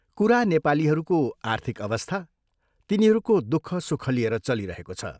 कुरा नेपालीहरूको आर्थिक अवस्था, तिनीहरूको दुःख सुख लिएर चलिरहेको छ।